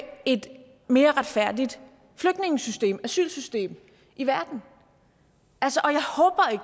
et mere retfærdigt flygtningesystem asylsystem i verden